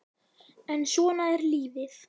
En svona er lífið.